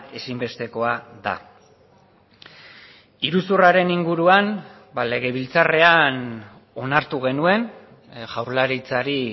ezinbestekoa da iruzurraren inguruan legebiltzarrean onartu genuen jaurlaritzari